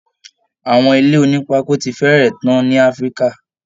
Àwọn ilé onípákó ti fẹ́rẹ̀ tán ní Africa